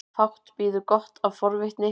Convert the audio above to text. Fátt bíður gott af forvitninni.